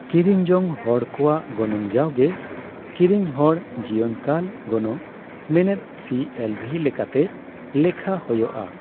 ᱠᱤᱨᱤᱧ ᱡᱚᱝ ᱦᱚᱲ ᱠᱚᱣᱟᱜ ᱜᱚᱱᱚᱝ ᱡᱟᱣᱜᱮ ᱠᱤᱨᱤᱧ ᱦᱚᱲ ᱡᱤᱭᱚᱱ ᱠᱟᱞ ᱜᱚᱱᱚᱝ ᱢᱮᱱᱮᱫ ᱥᱤᱹᱮᱞᱹᱵᱷᱤ ᱞᱮᱠᱟᱛᱮ ᱞᱮᱠᱷᱟ ᱦᱳᱭᱳᱜᱼᱟ ᱾